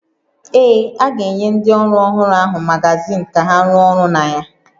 Ee, a ga-enye ndị ọrụ ọhụrụ ahụ magazin ka ha rụọ ọrụ na ya